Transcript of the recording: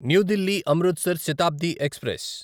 new Delhi Amritsar Shatabdi express